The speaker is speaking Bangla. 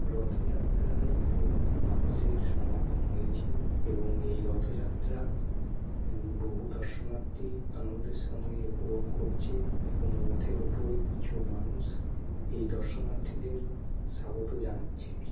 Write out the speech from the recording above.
রথযাত্রায় বহু মানুষের সমাগম হয়েছে এবং এই রথযাত্রা উম বহু দশনার্থী আনন্দের সঙ্গে উপভোগ করছে এবং রথের ওপরে কিছু মানুষ এই দশনার্থীদের স্বাগত জানাচ্ছে ।